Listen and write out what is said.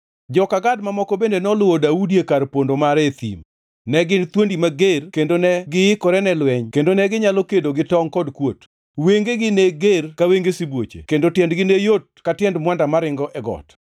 Joka Gad mamoko bende noluwo Daudi e kar pondo mare e thim. Ne gin thuondi mager kendo negiikore ne lweny kendo neginyalo kedo gi tongʼ kod kuot. Wengegi ne ger ka wenge sibuoche kendo tiendgi ne yot ka tiend mwanda maringo e got.